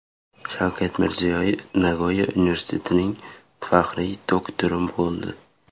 Shavkat Mirziyoyev Nagoya universitetining faxriy doktori bo‘ldi .